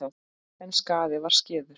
En skaðinn var skeður.